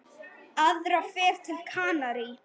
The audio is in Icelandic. Aðra ferð til Kanarí?